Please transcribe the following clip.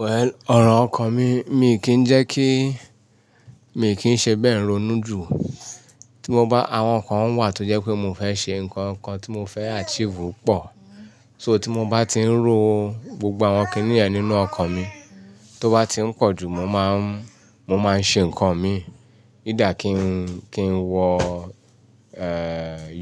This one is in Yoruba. Well, ọ̀rọ̀ ọkọ̀ mi, mi kì í jẹ́ kí, mi kì í ṣe bẹ́ẹ̀ ronú jù. Tí mo bá, àwọn nǹkan wà tó jẹ́ pé mo fẹ́ ṣe, nǹkan kan tí mo fẹ́ achieve pọ̀. So tí mo bá ti ń ro, gbogbo àwọn kíní ẹ̀ nínú ọkọ̀ mi. Tó bá ti ń pọ̀ jù, mo máa ń, mo máa ń ṣe nǹkan mi. Ídà kí n, kí n wọ,